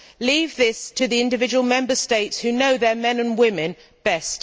Leave this to the individual Member States who know their men and women best.